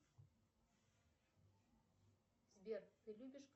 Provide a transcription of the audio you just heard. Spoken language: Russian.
сбер ты любишь